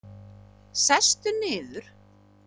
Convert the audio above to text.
Sestu niður.